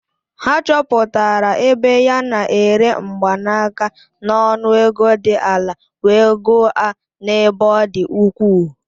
Ha chọpụtara ebe ya na-ere mgbanaka n'ọnụ ego dị ala wee goo a n'ebe ọ dị ukwuu.